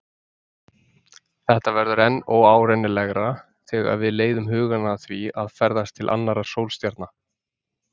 Þetta verður enn óárennilegra þegar við leiðum hugann að því að ferðast til annarra sólstjarna.